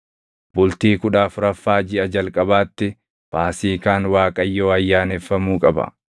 “ ‘Bultii kudha afuraffaa jiʼa jalqabaatti Faasiikaan Waaqayyoo ayyaaneffamuu qaba.